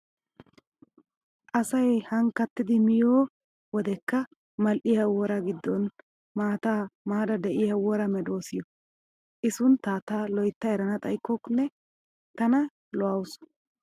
Asay ahankkatidi miyoo wodekka mal"iyaa woraa giddon maataa maada diyaa wora meedoosiyoo. I sunttaa ta loyitta erana xayikkonne tana lo"awuusu.